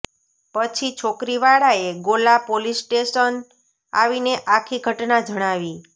પછી છોકરી વાળાએ ગોલા પોલીસ સ્ટેશન આવીને આખી ઘટના જણાવી